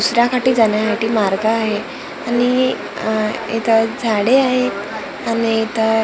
दुसऱ्या काठी जाण्यासाठी मार्ग आहे आणि अ इथं झाडे आहेत आणि इथं--